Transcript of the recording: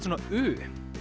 svona u